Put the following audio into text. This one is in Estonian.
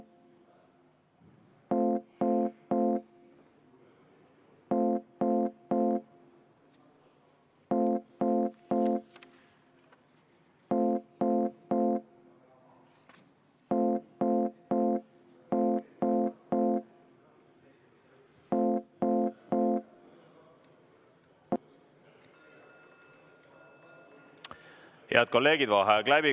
Head kolleegid, vaheaeg on läbi.